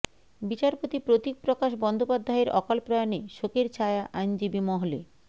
বিচারপতি প্রতীক প্রকাশ বন্দ্যোপাধ্যায়ের অকালপ্রয়াণে শোকের ছায়া আইনজীবী মহলে